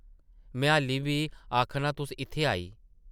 में हाल्ली बी आखनां तुस इत्थै आई.... ।